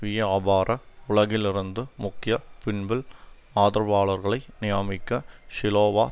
வியாபார உலகிலிருந்து முக்கிய பின்புல் ஆதரவாளர்களை நியாமிக்க ஷிலோவா